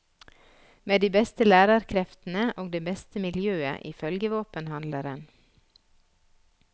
Med de beste lærerkreftene og det beste miljøet ifølge våpenhandleren.